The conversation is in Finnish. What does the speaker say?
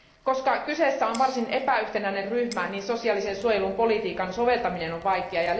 Koska kyseessä on varsin epäyhtenäinen ryhmä, niin sosiaalisen suojelun politiikan soveltaminen on vaikeaa.